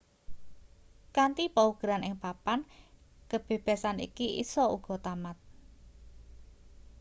kanthi paugeran ing papan kebebasan iki isa uga tamat